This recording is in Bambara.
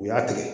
U y'a tigɛ